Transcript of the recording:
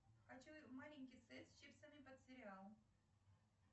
хочу маленький сет с чипсами под сериал